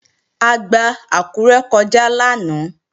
A gba Àkúré kọjá lánàá